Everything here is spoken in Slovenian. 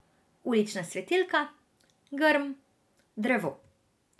Ulična svetilka, grm, drevo.